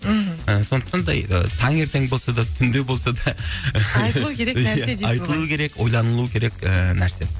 мхм і сондықтан да і таңертең болса да түнде болса да айтылу керек нәрсе дейсіз ғой айтылуы керек ойланылуы керек і нәрсе